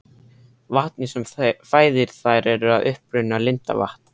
Vatnið sem fæðir þær er að uppruna lindavatn.